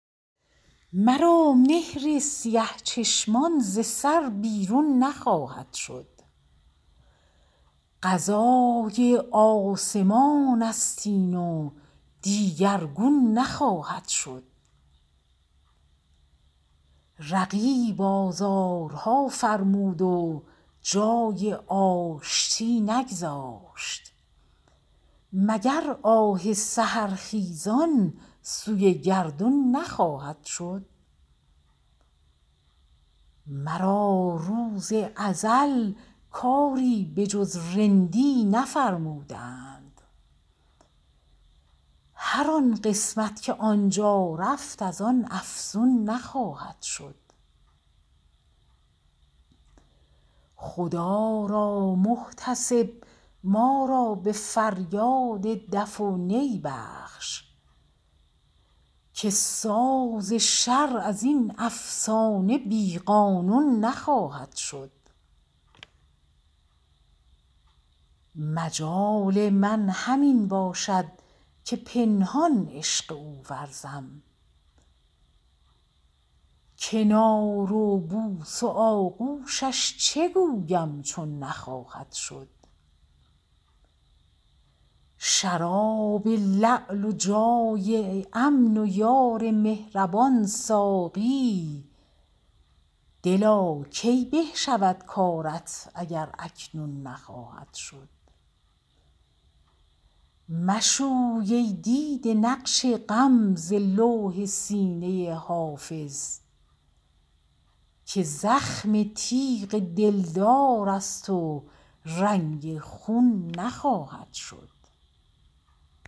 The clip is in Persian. مرا مهر سیه چشمان ز سر بیرون نخواهد شد قضای آسمان است این و دیگرگون نخواهد شد رقیب آزارها فرمود و جای آشتی نگذاشت مگر آه سحرخیزان سوی گردون نخواهد شد مرا روز ازل کاری به جز رندی نفرمودند هر آن قسمت که آن جا رفت از آن افزون نخواهد شد خدا را محتسب ما را به فریاد دف و نی بخش که ساز شرع از این افسانه بی قانون نخواهد شد مجال من همین باشد که پنهان عشق او ورزم کنار و بوس و آغوشش چه گویم چون نخواهد شد شراب لعل و جای امن و یار مهربان ساقی دلا کی به شود کارت اگر اکنون نخواهد شد مشوی ای دیده نقش غم ز لوح سینه حافظ که زخم تیغ دلدار است و رنگ خون نخواهد شد